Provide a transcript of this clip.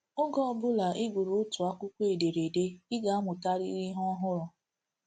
Oge ọ ọbụla ị gụrụ otu akwụkwọ ederede, ị ga-amụtarịrị ihe ọhụrụ.